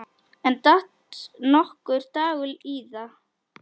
En datt nokkuð Dagur íða?